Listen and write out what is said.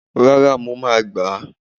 rara, mọ ma gbá